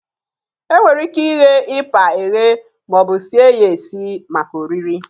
E nwere ike ighe ịpa eghe maọbụ sie ya esi maka oriri.